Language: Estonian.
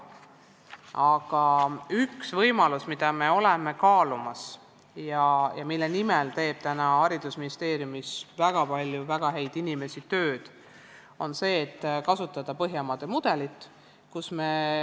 Aga üks võimalus, mida me kaalume ja mille nimel teeb haridusministeeriumis väga palju väga häid inimesi tööd, on Põhjamaade mudeli kasutamine.